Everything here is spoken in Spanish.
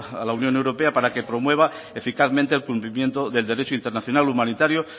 a la unión europea para que promueva eficazmente el cumplimiento del derecho internacional humanitario